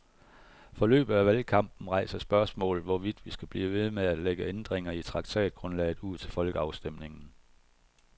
Forløbet af valgkampen rejser spørgsmålet, hvorvidt vi skal blive ved med at lægge ændringer i traktatgrundlaget ud til folkeafstemning.